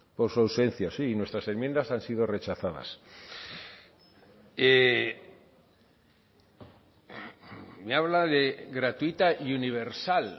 por su ausencia sí nuestras enmiendas han sido rechazadas me habla de gratuita y universal